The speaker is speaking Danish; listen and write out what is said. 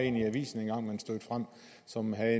en i avisen som man